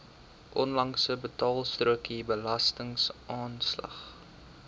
onlangse betaalstrokie belastingaanslag